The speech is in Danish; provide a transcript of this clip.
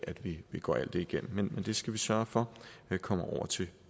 at vi går alt det igennem men det skal vi sørge for kommer over til